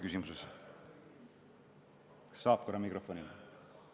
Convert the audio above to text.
Kas saaks korra veel mikrofoni anda?